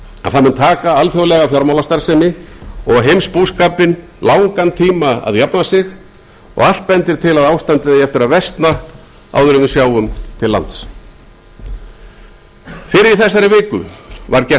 að það mun taka alþjóðlega fjármálastarfsemi og heimsbúskapinn langan tíma að jafna sig og allt bendir til að ástandið eigi eftir að versna áður en við sjáum til lands fyrr í þessari viku var gert